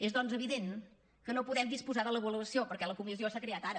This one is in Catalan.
és doncs evident que no podem disposar de l’avaluació perquè la comissió s’ha creat ara